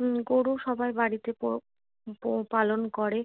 উম গরু সবার বাড়িতে প পালন করে